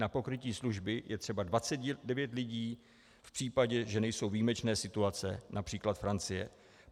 Na pokrytí služby je potřeba 29 lidí v případě, že nejsou výjimečné situace, například Francie.